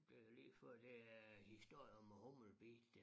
Det ligefør det er historien om æ humlebi der